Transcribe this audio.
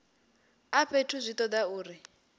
a fhethu zwi toda uri